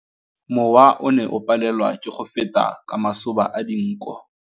Mowa o ne o palelwa ke go feta ka masoba a dinko.